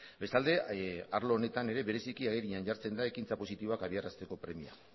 bestalde arlo honetan ere bereziki agerian jartzen da ekintza positiboak abiarazteko premia